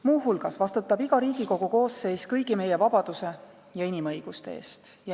Muuhulgas vastutab iga Riigikogu koosseis kõigi meie vabaduse ja inimõiguste eest.